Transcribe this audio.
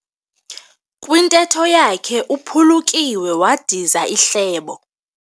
Kwintetho yakhe uphulukiwe wadiza ihlebo.